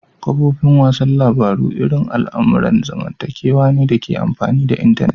Kafofin wasan labaru irin al'amuran zamantakewa ne dake amfani da intanet.